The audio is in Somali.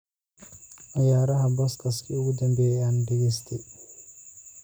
ciyaaro podcast-kii ugu dambeeyay ee aan dhageystay